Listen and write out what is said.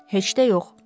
Heç də yox.